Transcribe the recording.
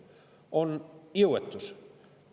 On jõuetus.